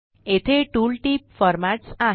येथे tool tip formats आहे